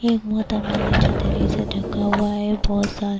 ایک موہترما نے چھتری سے دھنکا ہوا ہے ، بہت سارے --